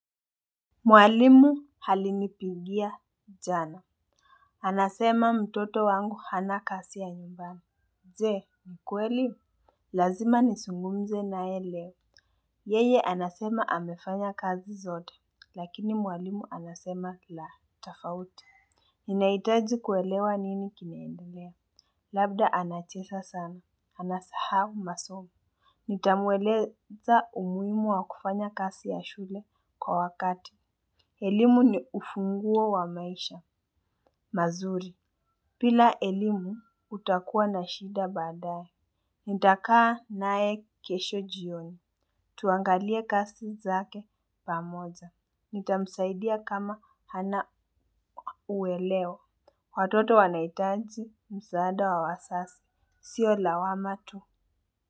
Mwalimu alinipigia jana. Anasema mtoto wangu hana kazi ya nyumbani je nikweli? Lazima nizungumze nae leo. Yeye anasema amefanya kazi zote. Lakini mwalimu anasema la tofauti. Ninahitaji kuelewa nini kineendelea. Labda anacheza sana, anasahau masomo. Nitamweleza umuhimu wa kufanya kazi ya shule kwa wakati. Elimu ni ufunguo wa maisha mazuri bila elimu utakuwa na shida baadae. Nitakaa nae kesho jioni. Tuangalie kazi zake pamoja. Nitamsaidia kama hana uelewa. Watoto wanahitaji msaada wa wazazi. Sio lawama tu.